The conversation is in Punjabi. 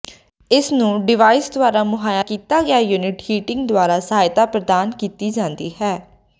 ਇਸ ਨੂੰ ਡਿਵਾਈਸ ਦੁਆਰਾ ਮੁਹੱਈਆ ਕੀਤਾ ਗਿਆ ਯੂਨਿਟ ਹੀਟਿੰਗ ਦੁਆਰਾ ਸਹਾਇਤਾ ਪ੍ਰਦਾਨ ਕੀਤੀ ਜਾਂਦੀ ਹੈ